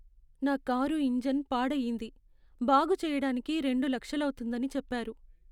నా car engine పాడయింది, బాగు చెయ్యటానికి రెండు లక్షలౌతుందని చెప్పారు.